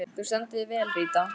Þú stendur þig vel, Ríta!